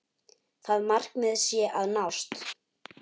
Það markmið sé að nást.